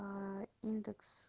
индекс